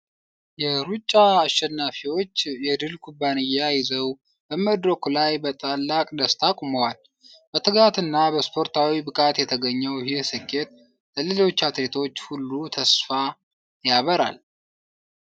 የሩጫ አሸናፊዎች የድል ኩባያ ይዘው በመድረኩ ላይ በታላቅ ደስታ ቆመዋል። በትጋትና በስፖርታዊ ብቃት የተገኘው ይህ ስኬት ለሌሎች አትሌቶች ሁሉ ተስፋን ያበራል።